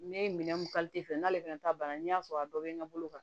Ne ye minɛn mun fɛ n'ale fɛnɛ ta banna n'i y'a sɔrɔ a dɔ be n bolo ka